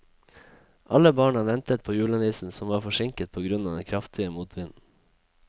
Alle barna ventet på julenissen, som var forsinket på grunn av den kraftige motvinden.